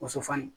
Muso fani